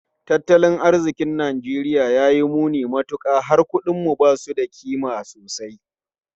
Tattalin arzikin Najeriya ya yi muni matuka, har kudinmu ba su da kima sosai.